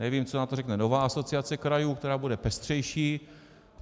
Nevím, co na to řekne nová Asociace krajů, která bude pestřejší.